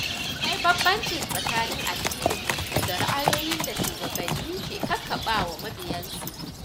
Akwai bambanci tsakanin addinin mutum da ra’ayoyin da shugabanni ke ƙaƙabawa mabiyansu.